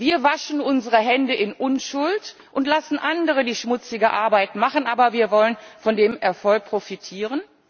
Wir waschen unsere Hände in Unschuld und lassen andere die schmutzige Arbeit machen, aber wir wollen von dem Erfolg profitieren.